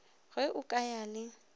ge o ka ya le